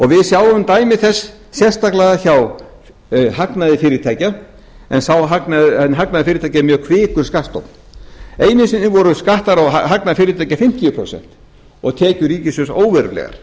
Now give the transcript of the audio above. við sjáum dæmi þess sérstaklega hjá hagnaði fyrirtækja en hagnaður fyrirtækja er mjög hvikur skattstofn einu sinni voru skattar á hagnað fyrirtækja fimmtíu prósent og tekjur ríkissjóðs óverulegar